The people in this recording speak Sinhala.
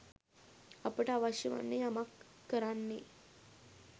අපට අවශ්‍ය වන්නේ යමක් කරන්නේ